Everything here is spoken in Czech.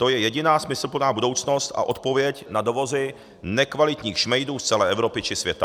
To je jediná smysluplná budoucnost a odpověď na dovozy nekvalitních šmejdů z celé Evropy či světa.